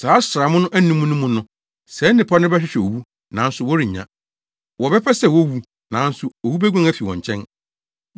Saa asram anum no mu no, saa nnipa no bɛhwehwɛ owu, nanso wɔrennya. Wɔbɛpɛ sɛ wowu, nanso owu beguan afi wɔn nkyɛn.